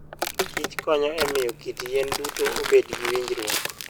Kich konyo e miyo kit yien duto obed gi winjruok.